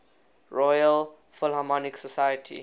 royal philharmonic society